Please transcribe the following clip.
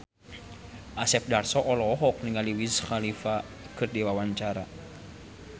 Asep Darso olohok ningali Wiz Khalifa keur diwawancara